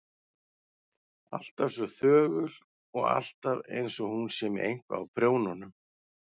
Alltaf svo þögul og alltaf einsog hún sé með eitthvað á prjónunum.